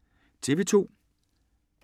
TV 2